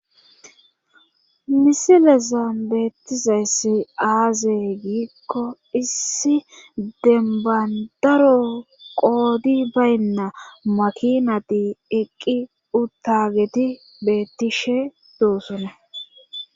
Misile zan beettizayssi aazee giikko issi dembandaro qoodi baynna makinati eqqi uttageti beettishe doosona